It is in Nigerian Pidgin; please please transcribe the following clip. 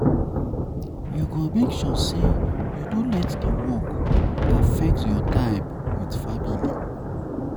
You go make sure um sey you um no let di di work affect your time um wit family.